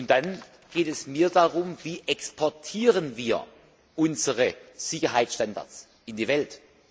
Dann geht es mir um die Frage Wie exportieren wir unsere Sicherheitsstandards in die Welt?